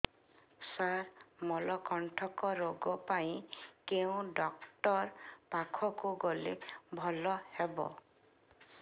ସାର ମଳକଣ୍ଟକ ରୋଗ ପାଇଁ କେଉଁ ଡକ୍ଟର ପାଖକୁ ଗଲେ ଭଲ ହେବ